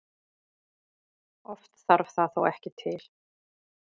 Oft þarf það þó ekki til.